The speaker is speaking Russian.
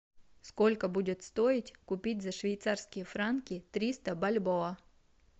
сколько будет стоить купить за швейцарские франки триста бальбоа